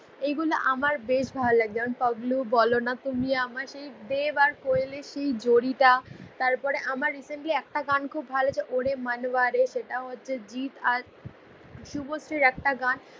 এগুল আমার বেশ ভাল লাগছে যেমন পাগ্লু বল না তুমি আমার দেভ আর কয়েল এর সেই জরি টা তারপর আমার রিসেন্টলি আমার একটা গান খুব ভাল লেগেছে অরে মানভা রে সেটাও হছে জিত আর সুভস্রির একটা গান